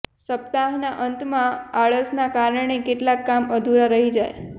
સપ્તાહના અંતમાં આળસના કારણે કેટલાક કામ અધુરા રહી જાય